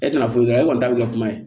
E tɛna foyi dɔn e kɔni t'a bɛ kɛ kuma ye